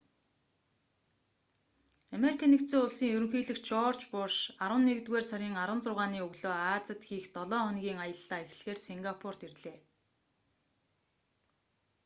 ану-ын ерөнхийлөгч жорж у.буш арваннэгдүгээр сарын 16-ны өглөө азид хийх долоо хоногийн аяллаа эхлэхээр сингапурт ирлээ